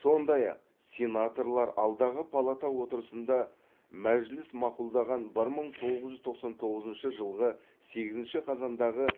сондай ақ сенаторлар алдағы палата отырысында мәжіліс мақұлдаған бір мың тоғыз жүз тоқсан тоғызыншы жылғы сегізінші қазандағы